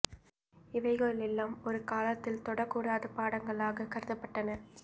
இவைகள் எல்லாம் ஒரு காலத்தில் தொடக் கூடாத பாடங்களாக கருதப்பட்டன